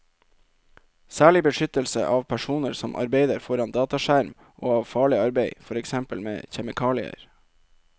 Særlig beskyttelse av personer som arbeider foran dataskjerm og av farlig arbeid, for eksempel med kjemikalier.